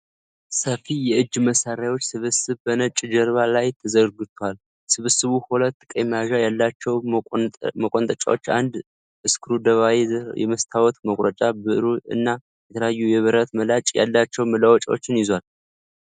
ሰፊ የእጅ መሳሪያዎች ስብስብ በነጭ ጀርባ ላይ ተዘርግቷል። ስብስቡ ሁለት ቀይ መያዣ ያላቸው መቆንጠጫዎች፣ አንድ ስክሩድራይቨር፣ የመስታወት መቁረጫ ብዕር እና የተለያዩ የብረት ምላጭ ያላቸው መለዋወጫዎችን ይዟል።